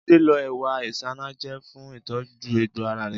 Jídé lo ewé isanaje fún ìtọ́jú egbò ara rẹ̀